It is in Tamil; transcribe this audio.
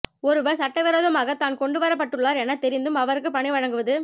ஒருவர் சட்டவிரோதமாக தான் கொண்டு வரப்பட்டுள்ளார் என தெரிந்தும் அவருக்கு பணி வழங்குவது